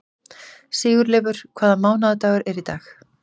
Sigurleifur, hvaða mánaðardagur er í dag?